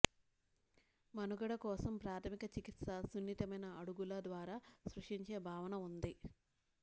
మనుగడ కోసం ప్రాథమిక చికిత్స సున్నితమైన అడుగుల ద్వారా స్పృశించే భావన ఉంది